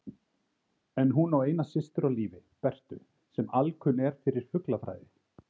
En hún á eina systur á lífi, Bertu, sem alkunn er fyrir fuglafræði.